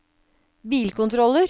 bilkontroller